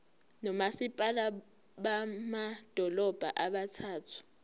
nomasipala bamadolobha abathathu